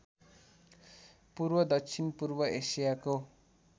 पूर्व दक्षिणपूर्व एसियाको